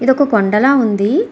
ఇదొక కొండ లా ఉంది.